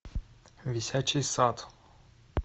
висячий сад